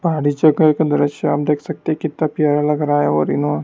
पहाड़ी च का एक दृश्य आप देख सकते हैं कितना प्यारा लग रहा है और इनो--